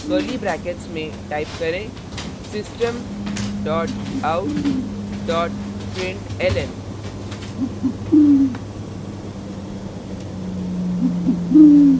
curly brackets में type करें system dot out dot println